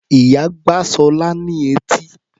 Ìyá gbá Ṣọlá ní etí.